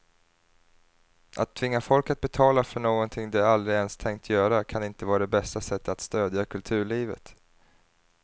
Att tvinga folk att betala för något de aldrig ens tänkt göra kan inte vara det bästa sättet att stödja kulturlivet.